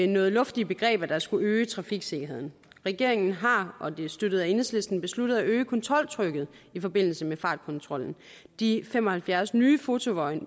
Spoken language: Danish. noget luftige begreber der skulle øge trafiksikkerheden regeringen har og det er støttet af enhedslisten besluttet at øge kontroltrykket i forbindelse med fartkontrollen de fem og halvfjerds nye fotovogne